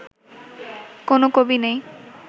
কোনও কবি নেই